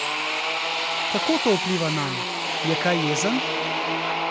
Kako to vpliva nanj, je kaj jezen?